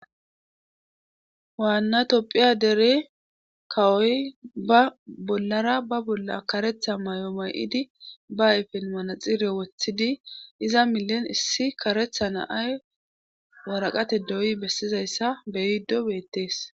Waanna topphiya dere kawoy ba bollara ba bolla karetha may'o may7idi ba ayfen manaxire woththidi iza milen issi karetha naay waraqate doyi bessizayssa beyiddo beettees.